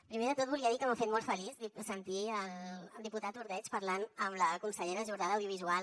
primer de tot volia dir que m’ha fet molt feliç sentir el diputat ordeig parlant amb la consellera jordà d’audiovisual